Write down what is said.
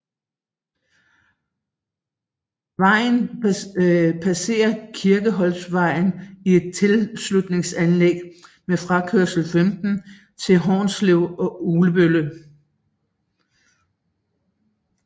Vejen passer Kirkeholtvej i et tilslutningsanlæg med frakørsel 15 til Hornslet og Ugelbølle